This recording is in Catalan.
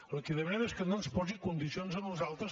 el que li demanem és que no ens posi condicions a nosaltres